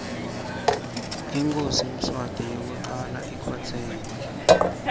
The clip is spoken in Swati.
inkhosi mswati yekucala ikhotseme